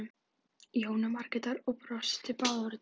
Jónu Margrétar og brostu báðar út að eyrum.